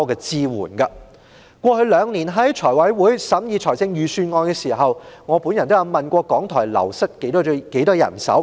財務委員會過去兩年審議預算案時，我都曾問及港台流失了多少人手。